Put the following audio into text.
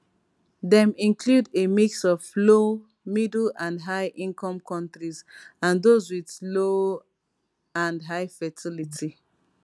dem include a mix of low middle and highincome countries and those with low and high fertility